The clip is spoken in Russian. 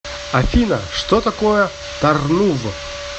афина что такое тарнув